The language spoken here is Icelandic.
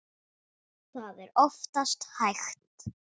Það er oftast hægt.